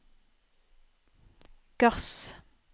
gass